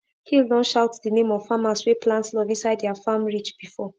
hill don shout the name of farmers wey plant love inside their farm ridge before